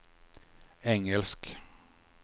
engelsk